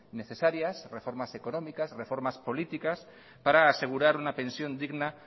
necesarias reformas económicas reformas políticas para asegurar una pensión digna